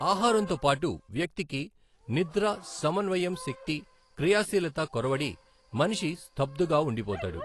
ఆహారంతో పాటు వ్యక్తికి నిద్ర సమన్వయం శక్తి క్రియాశీలత కొరవడి మనిషి స్థబ్ధుగా ఉండిపోతాడు.